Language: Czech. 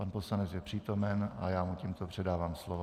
Pan poslanec je přítomen a já mu tímto předávám slovo.